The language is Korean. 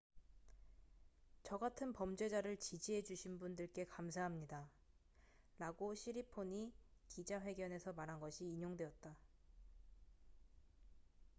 """저 같은 범죄자를 지지해 주신 분들께 감사합니다""라고 시리폰이 기자 회견에서 말한 것이 인용되었다.